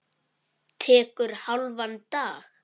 Tekur hálfan dag.